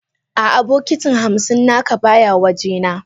A'a bokiti hamsin naka baya waje na.